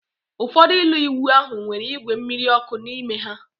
Ụfọdụ ụlọ ịwụ ahụ nwere igwe mmiri ọkụ n'ime ha